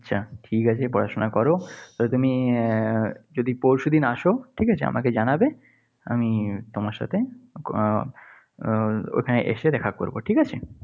আচ্ছা, ঠিক আছে পড়াশোনা করো। তবে তুমি আহ যদি পরশু দিন আসো ঠিক আছে, আমাকে জানাবে। আমি তোমার সাথে উহ আহ ওখানে এসে দেখা করব। ঠিক আছে?